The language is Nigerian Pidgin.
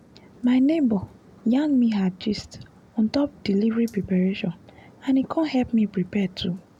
my neighbor yarn me her gist on top delivery preparation and e con help me prepare too